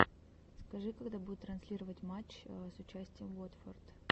скажи когда будут транслировать матч с участием уотфорд